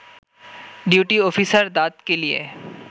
duty officer দাঁত কেলিয়ে